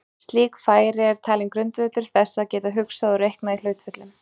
Slík færni er talin grundvöllur þess að geta hugsað og reiknað í hlutföllum.